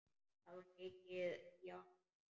Það var mikið í ánni.